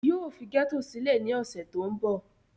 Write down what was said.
yóò fi gẹ́tò sílẹ̀ ní ọ̀sẹ̀ tó ń bọ̀